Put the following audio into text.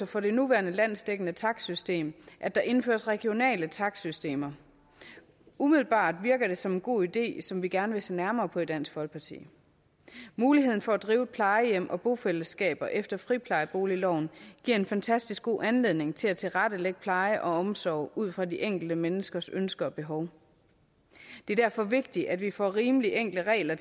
for det nuværende landsdækkende takstsystem at der indføres regionale takstsystemer umiddelbart virker det som en god idé som vi gerne vil se nærmere på i dansk folkeparti muligheden for at drive plejehjem og bofællesskaber efter friplejeboligloven giver en fantastisk god anledning til at tilrettelægge pleje og omsorg ud fra det enkelte menneskes ønsker og behov det er derfor vigtigt at vi får rimelig enkle regler